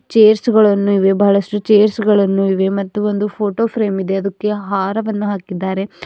Chairs ಗಳನ್ನು ಇವೆ ಬಹಳಷ್ಟು ಚೇರ್ಸ್ ಗಳನ್ನು ಇವೆ ಮತ್ತು ಒಂದು ಫೋಟೋ ಫ್ರೇಮ್ ಇದೆ ಅದಕ್ಕೆ ಹಾರವನ್ನು ಹಾಕಿದ್ದಾರೆ.